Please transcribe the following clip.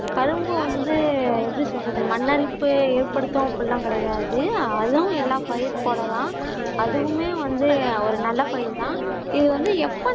கரும்பு வந்து எப்படி சொல்றது மண்ணரிப்பு ஏட்படுத்தும் அப்படியெல்லாம் கிடையாது அதும் எல்லா பயிர் போல தான் அதுவுமே வந்து ஒரு நல்ல பயிர் தான். இது வந்து எப்ப நான்